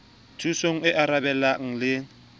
thusong e arabelang le e